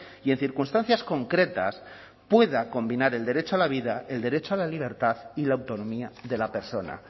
y en circunstancias concretas pueda combinar el derecho a la vida el derecho a la libertad y la autonomía de la persona